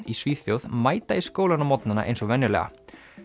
í Svíþjóð mæta í skólann á morgnana eins og venjulega